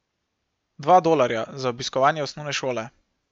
Dva dolarja za obiskovanje osnovne šole.